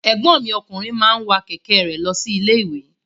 Ẹ̀gbọ́n mi ọkùnrin máa wa kẹ̀kẹ́ re lọ sí ilé-iwe.